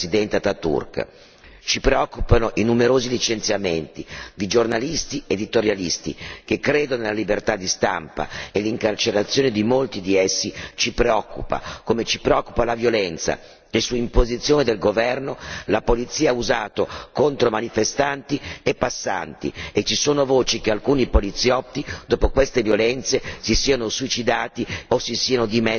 Ci preoccupano i numerosi licenziamenti di giornalisti e di editorialisti che credono nella libertà di stampa e l'incarcerazione di molti di essi ci preoccupa, come ci preoccupa la violenza, che su imposizione del governo la polizia ha usato contro manifestanti e passanti e ci sono voci che alcuni poliziotti dopo queste violenze si sono suicidati o si siano dimessi dall'incarico.